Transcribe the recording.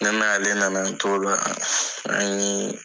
Ne n'ale nana an t'o la , an ye